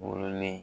Wololen